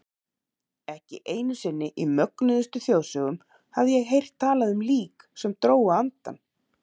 Ekki einu sinni í mögnuðustu þjóðsögum hafði ég heyrt talað um lík sem drógu andann.